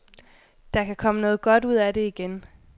Der kan komme noget godt ud af det igen.